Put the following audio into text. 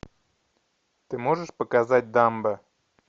ты можешь показать дамбо